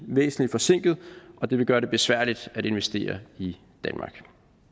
væsentlig forsinket og det vil gøre det besværligt at investere i danmark